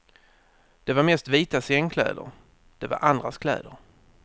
Det var mest vita sängkläder, det var andras kläder.